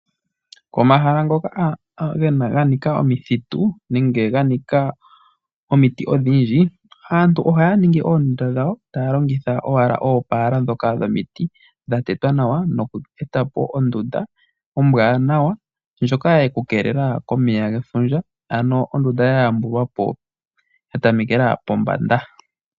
Komahala ngoka ganika omithitu nenge ga nika omiti odhindji, aantu ohaya ningi oondunda dhawo taya longitha owala oopala ndhoka dhomiti dha tetwa nawa noku eta po ondunda ombwaanawa ndjoka ye ku keelela komeya gefundja, ano ondunda ya yambulwa po ya tamekela pombanda.